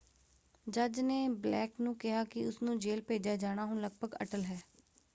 ਜੱਜ ਨੇ ਬਲੇਕ ਨੂੰ ਕਿਹਾ ਕਿ ਉਸਨੂੰ ਜੇਲ ਭੇਜਿਆ ਜਾਣਾ ਹੁਣ ਲਗਭਗ ਅਟੱਲ” ਹੈ।